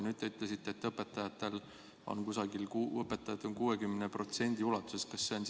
Nüüd te ütlesite, et õpetajad on 60% ulatuses vaktsineeritud.